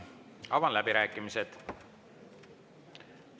Avan läbirääkimised.